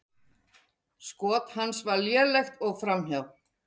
Skot hans var lélegt og framhjá.